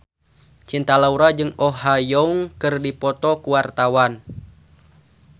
Cinta Laura jeung Oh Ha Young keur dipoto ku wartawan